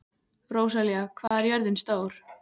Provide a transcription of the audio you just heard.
Rósalía, hvað er jörðin stór?